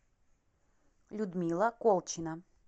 людмила колчина